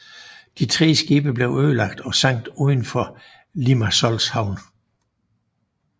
De tre skibe blev ødelagt og sank uden for Limassols havn